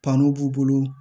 Kanu b'u bolo